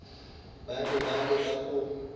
ba be ba leka go